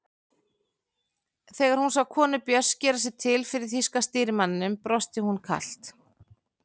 Þegar hún sá konu Björns gera sig til fyrir þýska stýrimanninum brosti hún kalt.